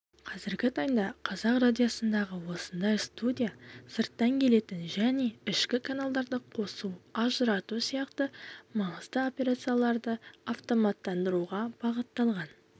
қазіргі таңдағы қазақ радиосындағы осындай студия сырттан келетін және ішкі каналдарды қосу ажырату сияқты маңызды операцияларды автоматтандыруға бағытталған